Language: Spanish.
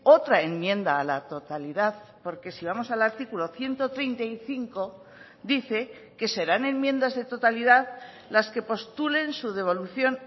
otra enmienda a la totalidad porque si vamos al artículo ciento treinta y cinco dice que serán enmiendas de totalidad las que postulen su devolución